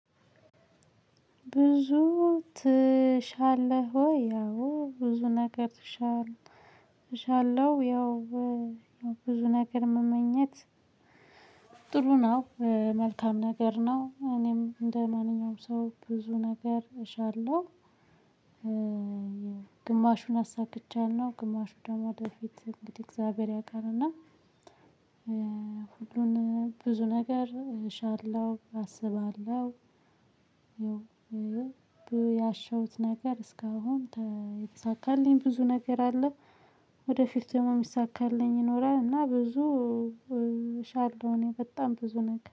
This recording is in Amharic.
ብዙ ትሻለህ ወይ አዎ ብዙ ነገር ትሻለህ እሻለሁ። ያው ብዙ ነገር መመኘት። ጥሩ ነው መልካም ነገር ነው እኔም እንደማንኛውም ሰው ብዙ ነገር እሻለሁ። ግማሹን አሳክቻለሁ ግማሹ ደግሞ ወደፊት እንግዲህ እግዚአብሔር ያቃልና። ሁሉን ብዙ ነገር እሻለሁ አስባለሁ። ያሸውት ነገር እስካሁን የተሳካልኝ ብዙ ነገር አለው። ወደፊት ደግሞ የሚሳካልኝ ይኖራል እና ብዙ ሻለው እኔ በጣም ብዙ ነገር